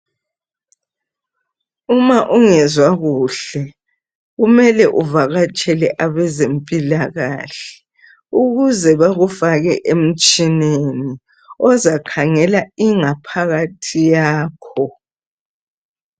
Uma ungezwa kuhle kumele uvakatshele abezempilakahle ukuze bekufake emtshineni ozakhangela ingaphakathi yakho.